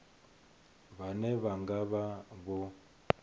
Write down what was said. vhane vha nga vha vho